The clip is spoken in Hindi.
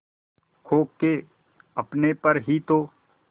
खो के अपने पर ही तो